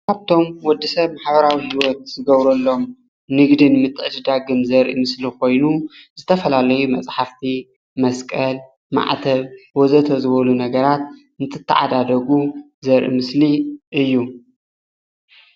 ካብቶም ወዲሰብ ማሕበራዊ ሂወት ዝገብረሎም ንግድን ምትዕድዳግን ዘርኢ ምስሊ ኾይኑ ዝተፈላለዩ መፅሓፍቲ፣ መስቀል ፣ማዕተብ ወዘተ ዝበሉ ነገራት እንትተዓዳደጉ ዘርኢ ምስሊ እዩ ።